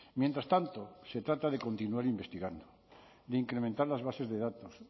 mientras tanto se trata de continuar investigando de incrementar las bases de datos